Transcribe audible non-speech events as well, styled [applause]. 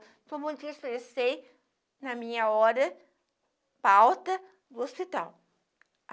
[unintelligible] expressei na minha hora palta do hospital